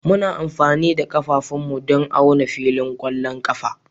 Muna amfani da ƙafafunmu don auna filin ƙwallon ƙafa